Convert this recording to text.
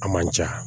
A man ca